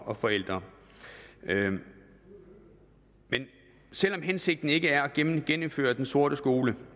og forældre men selv om hensigten ikke er at genindføre den sorte skole